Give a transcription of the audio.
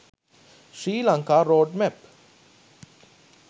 sri lanka road map